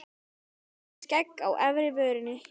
Mig með skegg á efri vörinni.